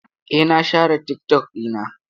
Eh, na share TikTok ɗina.